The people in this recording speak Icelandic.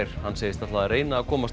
hann segist ætla að reyna að komast